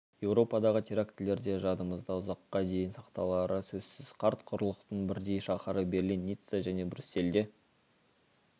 еуропадағы терактілер де жадымызда ұзаққа дейін сақталары сөзсіз қарт құрлықтың бірдей шаһары берлин ницца және брюссельде